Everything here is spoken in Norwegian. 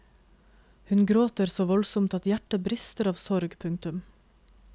Hun gråter så voldsomt at hjertet brister av sorg. punktum